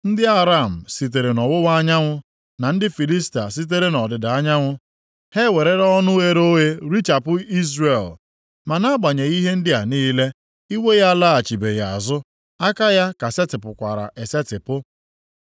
Ndị Aram sitere nʼọwụwa anyanwụ, na ndị Filistia sitere nʼọdịda anyanwụ ha e werela ọnụ ghere oghe richapụ Izrel. Ma nʼagbanyeghị ihe ndị a niile, iwe ya alaghachibeghị azụ, aka ya ka setịpụkwara esetipụ.